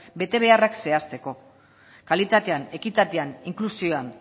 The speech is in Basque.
betebeharrak zehazteko kalitatean ekitatean inklusioan